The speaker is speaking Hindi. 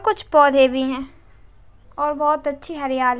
कुछ पौधे भी हैं और बहुत अच्छी हरियाली --